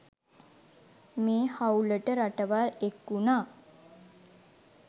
මේ හවුලට රටවල් එක් වුණා.